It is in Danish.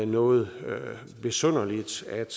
noget besynderligt at